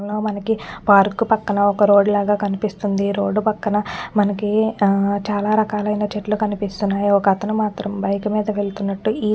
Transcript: ఎన్నో మనకి పార్క్ పక్కన ఒక్క రోడ్డ్ లాగా కనిపిస్తుంది రోడ్డు పక్కన మనకి ఆ చాలా రకాలైన చెట్లు కనిపిస్తున్నాయి ఒకతను మాత్రం బైక్ మీద వెళ్తున్నట్లు ఈ --.